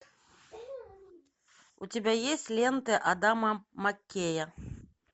у тебя есть ленты адама маккея